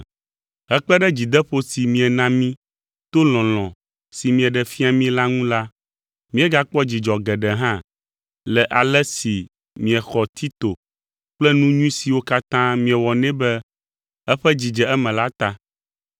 Hekpe ɖe dzideƒo si miena mí to lɔlɔ̃ si mieɖe fia mí la ŋu la, míegakpɔ dzidzɔ geɖe hã le ale si miexɔ Tito kple nu nyui siwo katã miewɔ nɛ be eƒe dzi dze eme la ta.